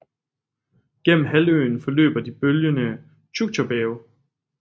Gennem halvøen forløber de bølgende Tjuktjerbjerge